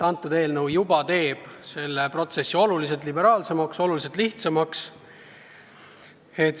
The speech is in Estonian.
Eelnõu kohaselt on see protsess oluliselt liberaalsem, oluliselt lihtsam.